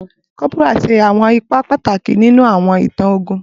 Cọ́póra ṣe awọn ipa pataki ninu awọn itan ogun